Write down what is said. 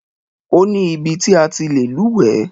Ó ní ibi ti a ti lè lúwẹ̀ẹ́.